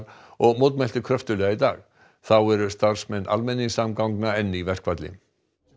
og mótmælti kröftuglega í dag þá eru starfsmenn almenningssamgangna enn í verkfalli